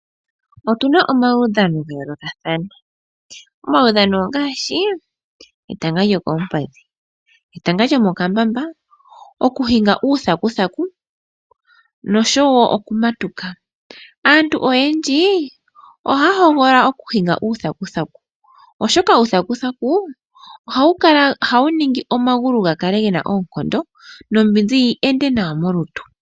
Otuna omaudhano ga yoolokathana. Omaudhano ongaashi: etanga lyokoompadhi, etanga lyomokambamba, okuhinga uuthanguthangu noshowo okumatuka. Aantu oyendji ohaya hogolola okuhinga uuthanguthangu, oshoka uuthanguthangu ohawu ningi omagulu ga kale gena oonkondo, nombinzi yi ende nawa molutu.